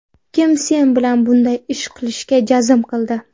Kim sen bilan bunday ish qilishga jazm qildi?